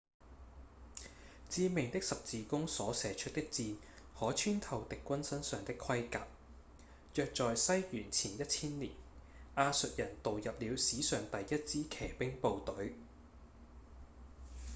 致命的十字弓所射出的箭可穿透敵軍身上的盔甲約在西元前1千年亞述人導入了史上第一支騎兵部隊